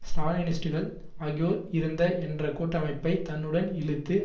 ஸ்ராலினிஸ்டுகள் ஆகியோர் இருந்த என்ற கூட்டமைப்பை தன்னுடன் இழுத்து